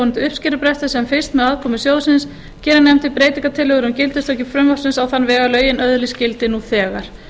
yfirvofandi uppskerubresti sem fyrst með aðkomu sjóðsins gerir nefndin breytingartillögu um gildistöku frumvarpsins á þann veg að lögin öðlist gildi nú þegar